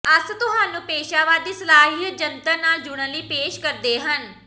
ਅਸ ਤੁਹਾਨੂੰ ਪੇਸ਼ਾਵਰ ਦੀ ਸਲਾਹ ਇਹ ਜੰਤਰ ਨਾਲ ਜੁੜਨ ਲਈ ਪੇਸ਼ ਕਰਦੇ ਹਨ